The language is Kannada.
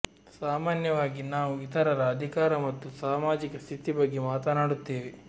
ಸಾಮಾನ್ಯವಾಗಿ ನಾವು ಇತರರ ಅಧಿಕಾರ ಮತ್ತು ಸಾಮಾಜಿಕ ಸ್ಥಿತಿ ಬಗ್ಗೆ ಮಾತನಾಡುತ್ತೇವೆ